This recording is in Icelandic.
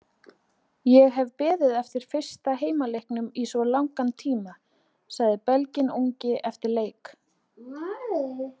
Ég hef beðið eftir fyrsta heimaleiknum í svo langan tíma, sagði Belginn ungi eftir leik.